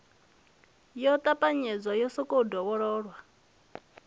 yo ṱapanyedzwa yo sokou dovhololwa